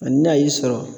Ani n'a y'i sɔrɔ